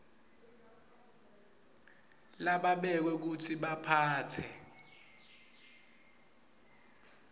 lababekwe kutsi baphatse